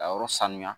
Ka yɔrɔ sanuya